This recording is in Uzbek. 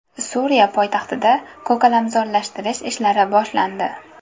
Suriya poytaxtida ko‘kalamzorlashtirish ishlari boshlandi.